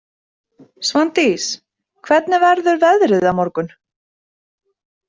Svandís, hvernig verður veðrið á morgun?